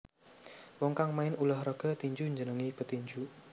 Wong kang main ulah raga tinju dijenengi petinju